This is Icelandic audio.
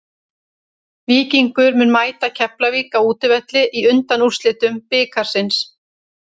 Víkingur mun mæta Keflavík á útivelli í undanúrslitum bikarsins.